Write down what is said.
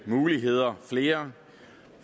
muligheder flere